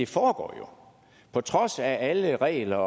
foregår på trods af alle regler